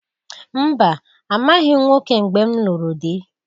Mba! Amaghị m nwoke mgbe m lụrụ dị.